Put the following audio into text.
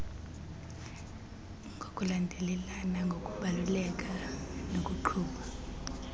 ngokulandelelana ngokubaluleka nokuqhuba